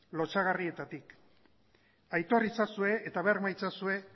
lotsagarrietatik aitor itzazue eta berma itzazue